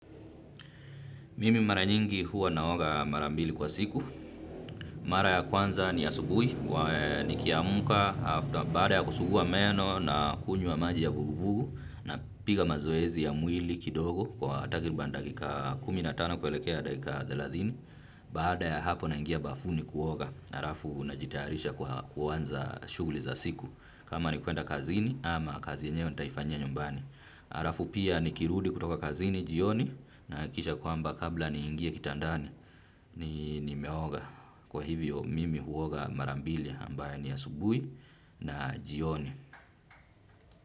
Mimi mara nyingi huwa naoga mara mbili kwa siku. Mara ya kwanza ni asubui, nikiamka, baada ya kusugua meno na kunywa maji ya vuguvugu napiga mazoezi ya mwili kidogo kwa takiriban dakika kumi natano kuelekea dakika theladhini. Baada ya hapo naingia bafuni kuoga. Arafu najitayarisha kwa kuanza shuguli za siku. Kama ni kuenda kazini ama kazi yenyewe nitaifanyia nyumbani. Arafu pia nikirudi kutoka kazini jioni nahakisha kwamba kabla niingie kitandani ni nimeoga. Kwa hivyo mimi huoga mara mbili ambayo ni asubui na jioni.